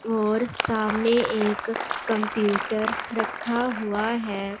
और सामने एक कंप्यूटर रखा हुआ है।